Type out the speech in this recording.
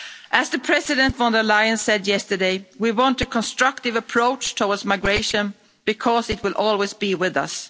As President von der Leyen said yesterday, we want a constructive approach towards migration because it will always be with us.